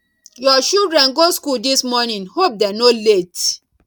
your children go school this morning hope dem no late